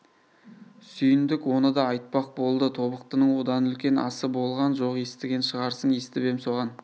сүйіндік оны да айтпақ болды тобықтының одан үлкен асы болған жоқ естіген шығарсың естіп ем соған